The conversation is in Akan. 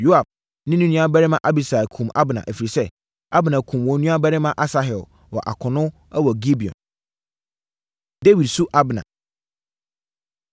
Yoab ne ne nuabarima Abisai kumm Abner, ɛfiri sɛ, Abner kumm wɔn nuabarima Asahel wɔ akono wɔ Gibeon. Dawid Su Abner